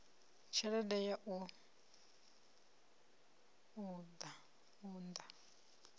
badela tshelede ya u unḓa